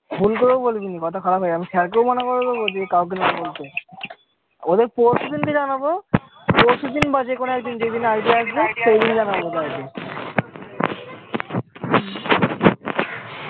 ভুল করেও বলবিনি মথা খারাপ হয়ে যাবে, অমি sir কেও মানা করে দেবো যাতে কাউকে না বলতে, ওদের কে পরশু দিনকে জানাবো, পরশু দিন বা যেকোনো একদিন জেদিন idea আসবে সেদিনই জানাবো